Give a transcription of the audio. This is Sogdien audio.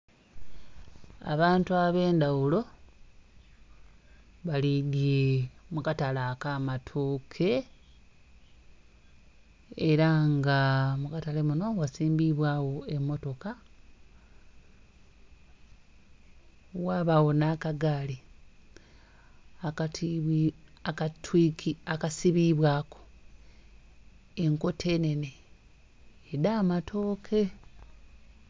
Abantu ab'endhaghulo bali mu katale aka matooke ela nga mukatale munho gha simbiibwagho amammotoka, ghabagho nh'akagaali aka sibibwaku enkota enhenhe edha amatooke.